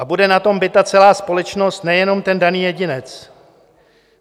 A bude na tom bita celá společnost, nejenom ten daný jedinec.